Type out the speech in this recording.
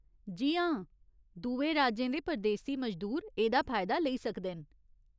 जी हां, दुए राज्यें दे परदेसी मजदूर एह्दा फायदा लेई सकदे न।